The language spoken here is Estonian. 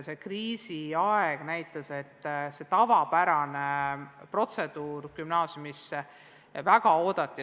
Kriisiaeg näitas, et tavapärast protseduuri gümnaasiumisse astumisel ei saanud rakendada.